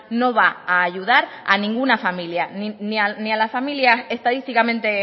no va a ayudar a ninguna familia ni a las familias estadísticamente